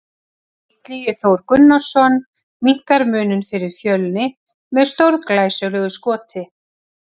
Illugi Þór Gunnarsson minnkar muninn fyrir Fjölni með stórglæsilegu skoti!